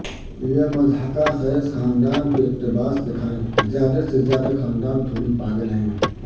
یہ مضحکہ خیز خاندان کے اقتباس دکھائیں زیادہ سے زیادہ خاندان تھوڑی پاگل ہیں